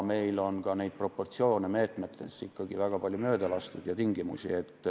Meil on ka meetmete proportsioonides ja tingimustes ikkagi väga palju möödalaskmisi.